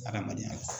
Adamadenya la